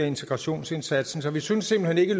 integrationsindsatsen så vi synes simpelt hen ikke